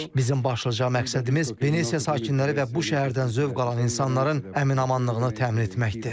Bizim başlıca məqsədimiz Venesiya sakinləri və bu şəhərdən zövq alan insanların əminamanlığını təmin etməkdir.